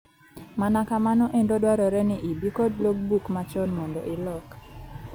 Mana kamano endo dwarore ni ibii kod log book machon mondo ilok.